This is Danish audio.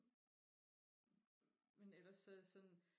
men ellers så sådan